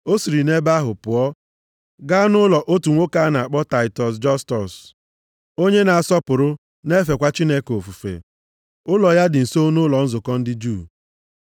O siri nʼebe ahụ pụọ, gaa nʼụlọ otu nwoke a na-akpọ Taịtọs Jọstus, onye na-asọpụrụ na-efekwa Chineke ofufe. Ụlọ ya dị nso nʼụlọ nzukọ ndị Juu.